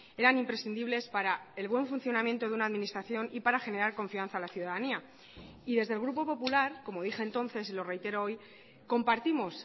eran imprescindibles para el buen funcionamiento de una administración y para generar confianza a la ciudadanía y desde el grupo popular como dije entonces y lo reitero hoy compartimos